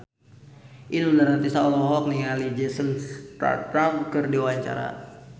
Inul Daratista olohok ningali Jason Statham keur diwawancara